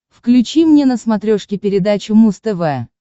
включи мне на смотрешке передачу муз тв